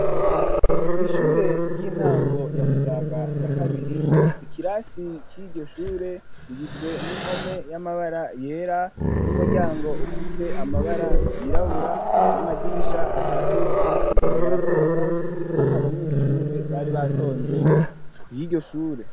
Kwi'ishuri ry'intango ya Musaga ya kabiri ikirasi ciryoshure rigizwe n'impome y'amabara yera n'umuryango ufise amabara yirabura n'amadirisha atatu bigaragara kori uwo munsi kate abanyeshure bari batonze ku y'iryoshure.